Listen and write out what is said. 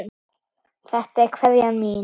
Þetta er kveðjan mín.